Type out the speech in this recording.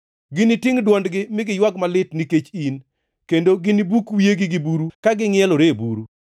Ginitingʼ dwondgi mi giywag malit nikech in; kendo ginibuk wiyegi gi buru ka gingʼielore e buru.